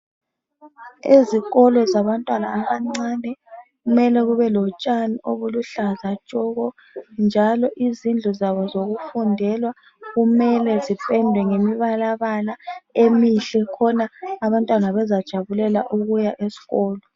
Ezikolo zabantwana abancani kumele kube lotshani oluhlaza tshoko njalo izindlu zabo zokufundelwa kumele zipendwe ngamabalala emihle khona abantwana bezajabulela ukuya esikolo